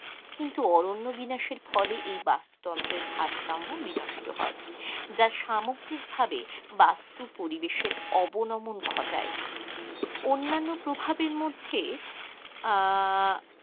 কিন্তু অরণ্য বিনাশের ফলে এই বাস্তু তন্ত্রের ভারসাম্য বিনষ্ট হয়, যা সামগ্রিক ভাবে বাস্তু পরিবেশের অবনমন ঘটায়, অন্যান্য প্রভাবের মধ্যে আহ